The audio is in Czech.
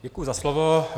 Děkuji za slovo.